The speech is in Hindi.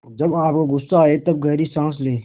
जब आपको गुस्सा आए तब गहरी सांस लें